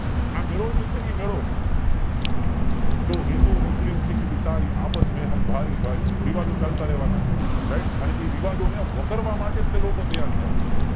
આ મેળો જે છે ઈ મેળો તો હિન્દૂ મુસ્લિમ શીખ ઇશાઇ અપાસમેં હમ ભાઈ ભાઈ વિવાદો ચાલતા રેવા ના છે અને ઈ વિવાદોને વખેરવા માટે જ તે લોકો તૈયાર થાય હોય છે